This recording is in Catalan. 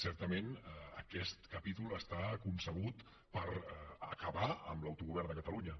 certament aquest capítol està concebut per acabar amb l’autogovern de catalunya